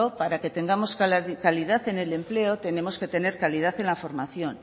para que tengamos calidad en el empleo tenemos que tener calidad en la formación